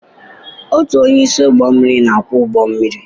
Otu onye isi ụgbọ mmiri na-akwọ ụgbọ mmiri.